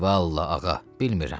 Vallah, ağa, bilmirəm.